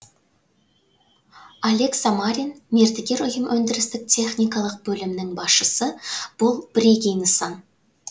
олег самарин мердігер ұйым өндірістік техникалық бөлімінің басшысы бұл бірегей нысан